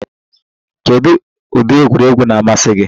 Kedu ụdị egwuregwu na-amasị gị?